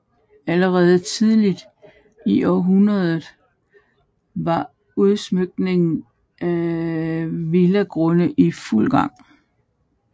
Allerede tidligt i århundredet var udstykningen af villagrunde i fuld gang